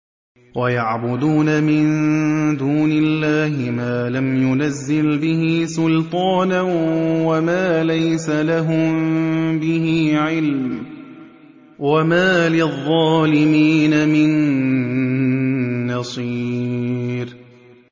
وَيَعْبُدُونَ مِن دُونِ اللَّهِ مَا لَمْ يُنَزِّلْ بِهِ سُلْطَانًا وَمَا لَيْسَ لَهُم بِهِ عِلْمٌ ۗ وَمَا لِلظَّالِمِينَ مِن نَّصِيرٍ